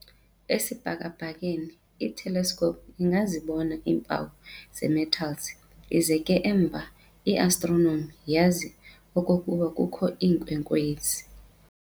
Esibhakabhakeni, i-telescope ingazibona iimpawu zee-metals ize ke emva i-astronomer yazi okokuba kukho ii-nkwenkwezi.